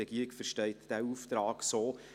Die Regierung versteht diesen Auftrag so.